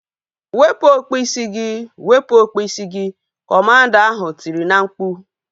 Wepụ okpu isi gị! Wepụ okpu isi gị! Kọmanda ahu tiri na mkpu